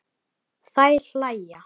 Þær hlæja.